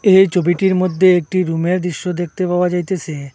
এই ছবিটির মধ্যে একটি রুমের দৃশ্য দেখতে পাওয়া যাইতেসে।